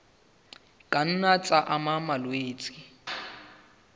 ka nna tsa ama malwetse